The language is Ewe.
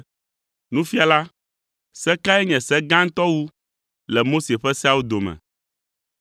“Nufiala, se kae nye gãtɔ wu le Mose ƒe seawo dome?”